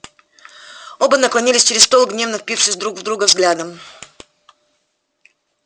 оба наклонились через стол гневно впившись друг в друга взглядом